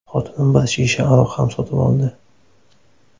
Xotinim bir shisha aroq ham sotib oldi.